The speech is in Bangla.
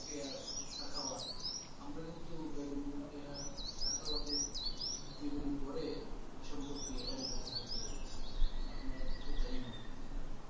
সাখাওয়াত আমরা কিন্তু বেগম রোকেয়ার সাখাওয়াত এ। জীবনী পড়ে সম্পর্কে অবগত হতে পেরেছি, আপনার তো তাই মনে হয় তাই না